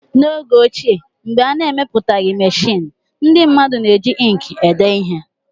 N'oge ochie, mgbe a na-emepụtaghị meshịn, ndị mmadụ na-eji ịnkị ede ihe